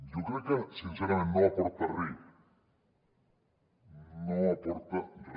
jo crec que sincerament no aporta re no aporta re